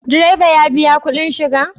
Direba ya biya kuɗin shiga?